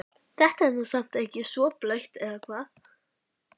Þetta er nú samt ekki svo blautt eða hvað?